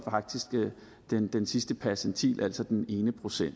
den sidste percentil altså den ene procent